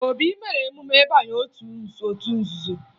Obi mere emume ịbanye otu nzuzo